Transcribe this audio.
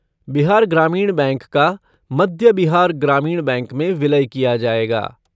Bihar Gramin bank का Madhya Bihar Gramin bank में विलय किया जायेगा।